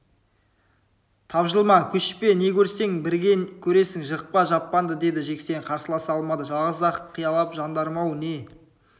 тапжылма көшпе не көрсең бірге көресің жықпа жаппаңды деді жексен қарсыласа алмады жалғыз-ақ қиялап жандарым-ау не